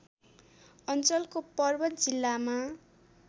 अञ्चलको पर्वत जिल्लामा